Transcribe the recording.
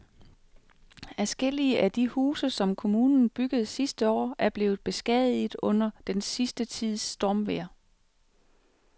Adskillige af de huse, som kommunen byggede sidste år, er blevet beskadiget under den sidste tids stormvejr.